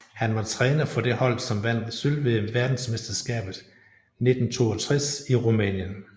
Han var træner for det hold som vandt sølv ved verdensmesterskabet 1962 i Rumænien